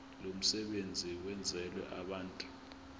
lomsebenzi wenzelwe abantu